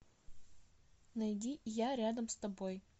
найди я рядом с тобой